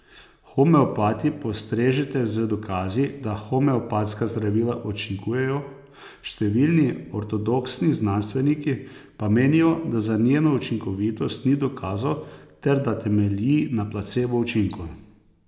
Homeopati postrežete z dokazi, da homeopatska zdravila učinkujejo, številni ortodoksni znanstveniki pa menijo, da za njeno učinkovitost ni dokazov ter da temelji na placebo učinku.